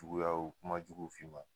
wuyaw kuma juguw fi' ma.